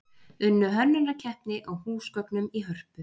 Unnu hönnunarkeppni á húsgögnum í Hörpu